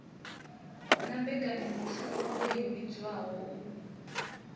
na mmbekanyamushumo i vhidzwaho u